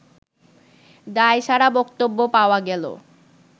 দায়সারা বক্তব্য পাওয়া গেল